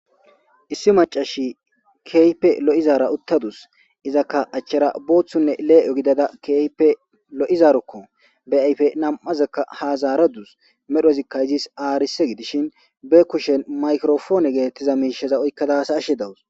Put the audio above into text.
Issi macash keehippe Io'izara uttadua.izaka achera boothune le7e gidada keehippe lo'izarokko. Be ayfe nam'azakka ha zaradus. Medhozika izis arise gidishn be kushen maykropone getetiza mishaza oykada hasa'ashe dawus.